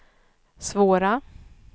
svåra